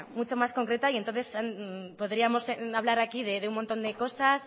mucho más concreta y entonces podríamos hablar aquí de un montón de cosas